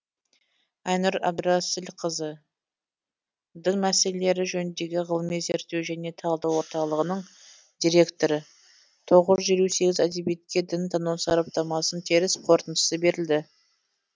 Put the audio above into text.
айнұр әбдірасылқызы дін мәселелері жөніндегі ғылыми зерттеу және талдау орталығының директоры тоғыз жүз елу сегіз әдебиетке дінтану сараптамасының теріс қорытындысы берілді